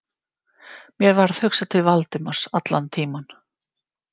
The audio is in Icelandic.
Mér varð hugsað til Valdimars allan tímann.